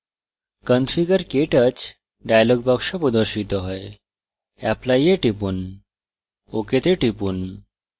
configurektouch dialog box প্রদর্শিত হয় apply এ টিপুন ok the টিপুন